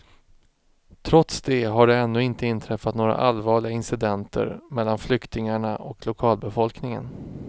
Trots det har det ännu inte inträffat några allvarliga incidenter mellan flyktingarna och lokalbefolkningen.